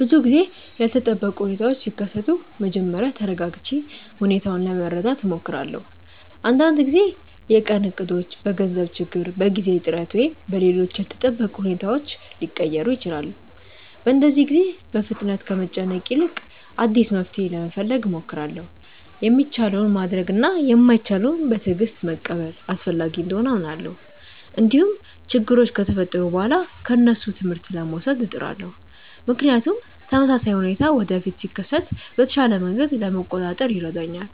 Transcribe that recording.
ብዙ ጊዜ ያልተጠበቁ ሁኔታዎች ሲከሰቱ መጀመሪያ ተረጋግቼ ሁኔታውን ለመረዳት እሞክራለሁ። አንዳንድ ጊዜ የቀን እቅዶች በገንዘብ ችግር፣ በጊዜ እጥረት ወይም በሌሎች ያልተጠበቁ ሁኔታዎች ሊቀየሩ ይችላሉ። በእንደዚህ ጊዜ በፍጥነት ከመጨነቅ ይልቅ አዲስ መፍትሔ ለመፈለግ እሞክራለሁ። የሚቻለውን ማድረግ እና የማይቻለውን በትዕግስት መቀበል አስፈላጊ እንደሆነ አምናለሁ። እንዲሁም ችግሮች ከተፈጠሩ በኋላ ከእነሱ ትምህርት ለመውሰድ እጥራለሁ፣ ምክንያቱም ተመሳሳይ ሁኔታ ወደፊት ሲከሰት በተሻለ መንገድ ለመቆጣጠር ይረዳኛል።